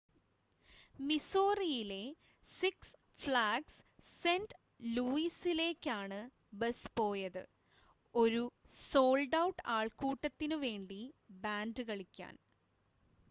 മിസോറിയിലെ Six Flags Saint ലൂയിസിലേക്കാണ് bus പോയത് ഒരു സോൾഡ് ഔട്ട് ആൾക്കൂട്ടത്തിനുവേണ്ടി ബാൻഡ് കളിക്കാൻ